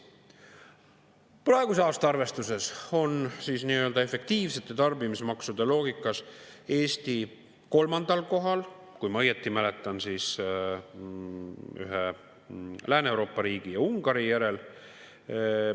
Praeguse aasta arvestuses on efektiivsete tarbimismaksude loogikas Eesti kolmandal kohal – kui ma õigesti mäletan, ühe Lääne-Euroopa riigi ja Ungari järel.